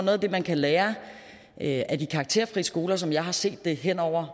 af det man kan lære lære af de karakterfrie skoler som jeg ser det hen over